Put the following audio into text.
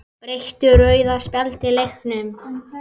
Breytti rauða spjaldið leiknum?